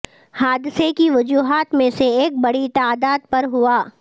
حادثے کی وجوہات میں سے ایک بڑی تعداد پر ہوا